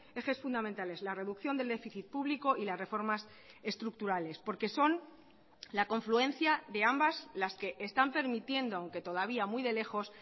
ejes fundamentales la reducción del déficit público y las reformas estructurales porque son la confluencia de ambas las que están permitiendo aunque todavía muy de lejos